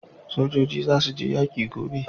Sojoji za su je yaƙi gobe